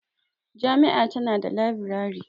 Jami'a tana da labirari.